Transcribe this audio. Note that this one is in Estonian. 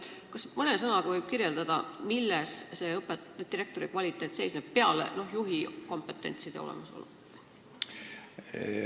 Kas te mõne sõnaga kirjeldaksite, milles direktori töö kõrge kvaliteet seisneb peale selle, et ta täidab juhi kompetentsi kuuluvaid ülesandeid?